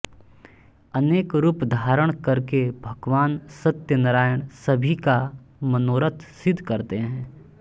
अनेक रूप धारण करके भगवान सत्यनारायण सभी का मनोरथ सिद्ध करते हैं